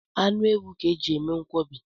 Anụ ewu ka e ji eme nkwọbi